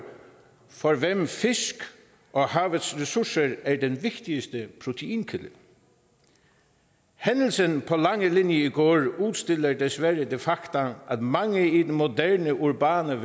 for hvem fisk og havets ressourcer er den vigtigste proteinkilde hændelsen på langelinie i går udstiller desværre det faktum at mange i den moderne urbane